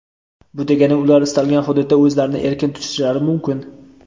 Bu degani ular istalgan hududda o‘zlarini erkin tutishlari mumkin.